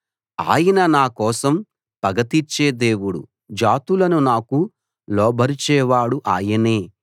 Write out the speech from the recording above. ఆయన నా కోసం పగ తీర్చే దేవుడు జాతులను నాకు లోబరిచేవాడు ఆయనే